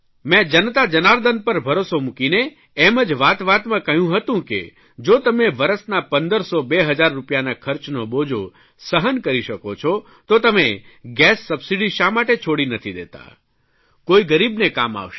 મેં જનતા જનાર્દન પર ભરોસો મૂકીને એમ જ વાતવાતમાં કહ્યું હતું કે જો તમે વરસના પંદરસો બે હજાર રૂપિયાના ખર્ચનો બોજો સહન કરી શકો છો તો તમે ગેસ સબસીડી શા માટે છોડી નથી દેતા કોઇ ગરીબને કામ આવશે